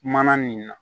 Mana nin na